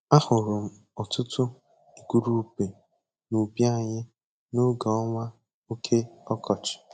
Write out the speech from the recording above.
Ahụrụ m ọtụtụ igurube n'ubi anyị n'oge ọnwa oke ọkọchị.